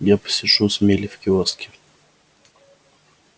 я посижу с мелли в киоске